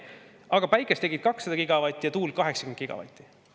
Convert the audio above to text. Aga päikest tegid 200 gigavatti ja tuult 80 gigavatti.